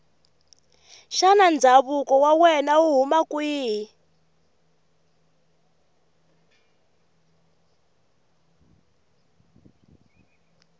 shana ndzakuvo wawena wuhhuna kwihhi